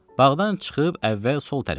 Bağdan çıxıb əvvəl sol tərəfə getdik.